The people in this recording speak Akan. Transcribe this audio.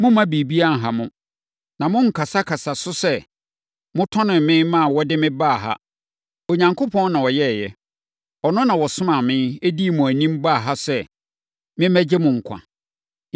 Mommma biribiara nha mo. Na monnkasakasa so sɛ motɔnee me maa wɔde mebaa ha. Onyankopɔn na ɔyɛeɛ. Ɔno na ɔsomaa me, dii mo anim baa ha sɛ memmɛgye mo nkwa.